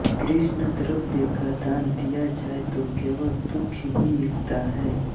कृष्ण द्रव्य का दान दिया जाए तो केवल दुख ही मिलता है